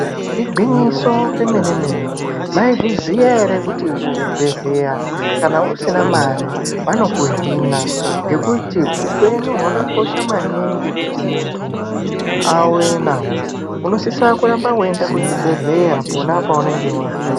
Igwinyiso yemenemene maizviziya ere kuti kuzvibhedhleya kana usina mare vanokuhina ngekuti upenyu hwakakosha maningi kuti munthu awe nahwo unosisa kuramba weienda kuzvibhedhleya pona paunenge warwara.